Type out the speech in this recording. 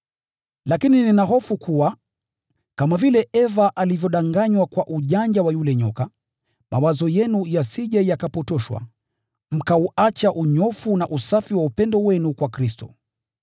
Lakini nina hofu kuwa, kama vile Eva alivyodanganywa kwa ujanja wa yule nyoka, mawazo yenu yasije yakapotoshwa, mkauacha unyofu na usafi wa upendo wenu kwa Kristo.